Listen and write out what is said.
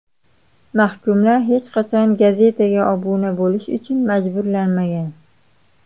Mahkumlar hech qachon gazetaga obuna bo‘lish uchun majburlanmagan.